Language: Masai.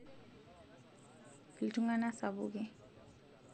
iltung'anak sapuki